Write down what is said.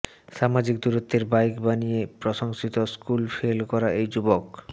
সামাজিক দূরত্বের বাইক বানিয়ে প্রশংসিত স্কুল ফেল করা এই যুবক